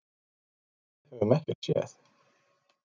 En við höfum ekkert séð.